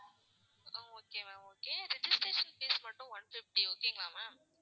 ஆஹ் okay ma'am okay registration fees மட்டும் one fifty okay ங்களா ma'am